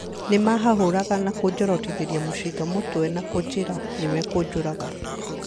Nĩmahahũraga na kũnjorotithĩria mucinga mũtwe na kunjĩra nĩmakũnjũraga